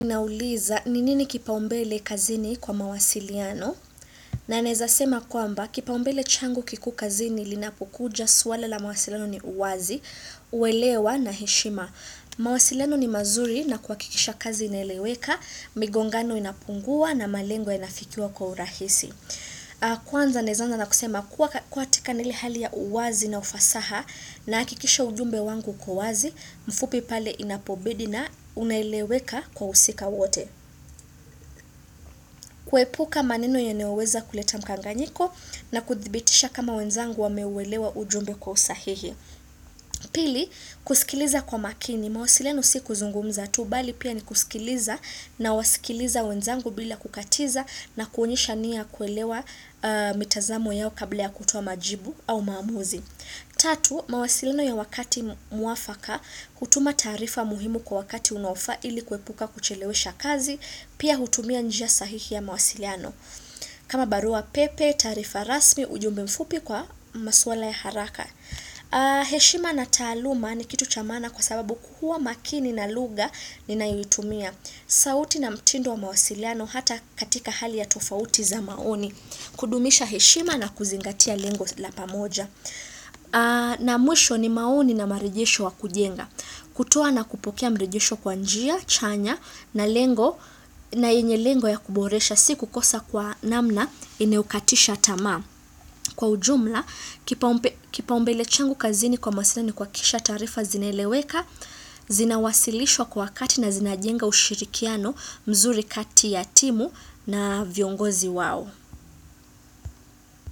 Nauliza, ni nini kipaumbele kazini kwa mawasiliano? Na naeza sema kwamba, kipaumbele changu kikuu kazini linapokuja swala la mawasiliano ni uwazi, uwelewa na heshima. Mawasiliano ni mazuri na kuhakikisha kazi inaeleweka, migongano inapungua na malengo inafikiwa kwa urahisi. Kwanza naeza anza na kusema, kuwa katika na ile hali ya uwazi na ufasaha na hikikisha ujumbe wangu uko uwazi, mfupi pale inapobidi na unaeleweka kwa wahusika wote kuepuka maneno yanaoweza kuleta mkanganyiko na kuthibitisha kama wenzangu wameuelewa ujumbe kwa usahihi Pili, kusikiliza kwa makini mawasiliano si kuzungumza tu bali pia ni kusikiliza nawasikiliza wenzangu bila kukatiza na kuonyesha nia kuelewa mitazamo yao kabla ya kutoa majibu au maamuzi Tatu, mawasiliano ya wakati mwafaka hutuma taarifa muhimu kwa wakati unaofaa ili kuepuka kuchelewesha kazi Pia hutumia njia sahihi ya mawasiliano kama barua pepe, taarifa rasmi, ujumbe mfupi kwa maswala ya haraka heshima na taaluma ni kitu cha maana kwa sababu kuhua makini na lugha ni ninayoitumia sauti na mtindo wa mawasiliano hata katika hali ya tofauti za maoni kudumisha heshima na kuzingatia lengo la pamoja na mwisho ni maoni na marejesho wa kujenga kutoa na kupokea mrejesho kwa njia, chanya na lengo na yenye lengo ya kuboresha siku kosa kwa namna inayokatisha tamaa Kwa ujumla, kipaumbe kipaumbele changu kazini kwa masina ni kuhakisha taarifa zinaeleweka zina wasilishwa kwa wakati na zina jenga ushirikiano mzuri kati ya timu na viongozi wao.